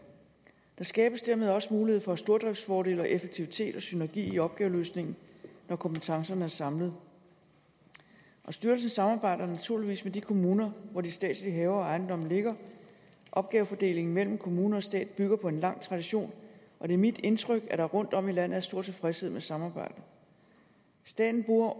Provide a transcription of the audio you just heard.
der skabes dermed også mulighed for stordriftsfordele og effektivitet og synergi i opgaveløsningen når kompetencerne er samlet styrelsen samarbejder naturligvis med de kommuner hvor de statslige haver og ejendomme ligger opgavefordelingen mellem kommuner og stat bygger på en lang tradition og det er mit indtryk at der rundtomkring er stor tilfredshed med samarbejdet staten bruger